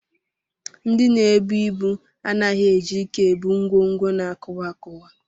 Ndị na-ebu ibu anaghị eji ike ebu ngwongwo na-akụwa akụwa